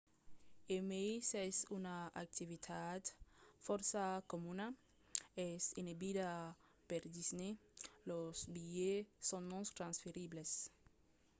e mai s’es una activitat fòrça comuna es enebida per disney: los bilhets son non-transferibles